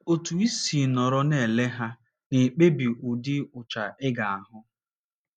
Otú i si nọrọ na - ele ha na - ekpebi ụdị ụcha ị ga - ahụ.